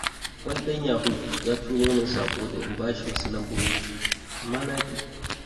Wani ɗan yahu ya turo min saƙo da in bashi wasu lambobi, amma naƙi.